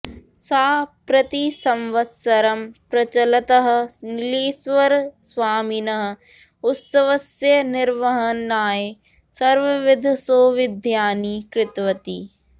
सा प्रतिसंवत्सरं प्रचलतः नीलेश्वरस्वामिनः उत्सवस्य निर्वहणाय सर्वविधसौविध्यानि कृतवती